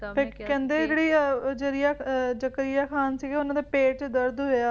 ਕਹਿੰਦੇ ਜਿਹੜੇ ਜਰੀਏ ਜਕਰੀਆ ਖਾਨ ਸੀਗਾ ਓਹਨਾ ਦੇ ਪੇਟ ਚ ਦਰਦ ਹੋਇਆ